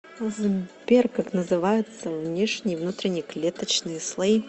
сбер как называются внешний и внутренний клеточные слои